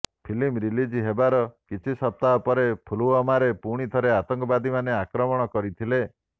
film release ହେବାର କିଛି ସପ୍ତାହ ପରେ ପୁଲଓ୍ବାମାରେ ପୁଣି ଥରେ ଆତଙ୍କବାଦୀମାନେ ଆକ୍ରମଣ କରିଥିଲେ